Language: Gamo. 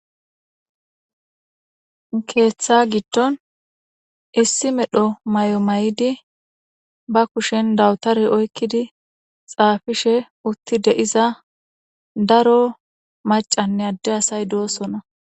Keeththaa giddon issi medho maayo mayidi ba kushen dawuri oykkidi tsaafishe oththi de7iza daro maccanne adde asay doosona.